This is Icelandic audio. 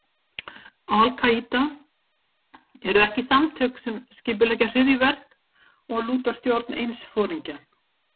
Al- Kaída eru ekki samtök sem skipuleggja hryðjuverk og lúta stjórn eins foringja.